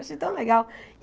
Eu achei tão legal!